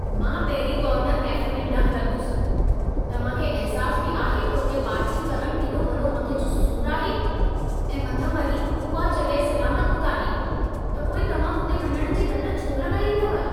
मां Perry corner cafe में न हलंदुसि। तव्हां खे अहिसास बि आहे त हुते पार्किंग करण केॾो वॾो मथे जो सूर आहे ऐं मथां वरी उहा जॻहि सलामत बि कान्हे। त पोइ तव्हां हुते वञण जी रट छो लॻाई अथव।